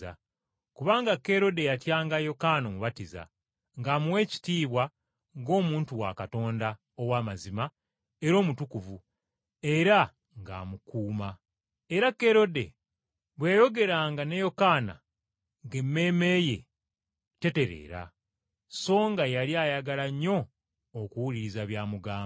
Kubanga Kerode yatyanga Yokaana Omubatiza, ng’amuwa ekitiibwa ng’omuntu wa Katonda ow’amazima era omutukuvu, era ng’amukuuma. Era Kerode bwe yayogeranga ne Yokaana ng’emmeeme ye tetereera, so nga yali ayagala nnyo okuwuliriza by’amugamba.